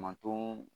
Matɔn